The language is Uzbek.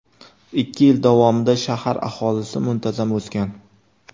Ikki yil davomida shahar aholisi muntazam o‘sgan.